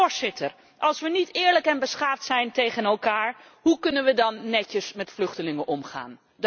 Voorzitter, als we niet eerlijk en beschaafd zijn tegen elkaar, hoe kunnen we dan netjes met vluchtelingen omgaan?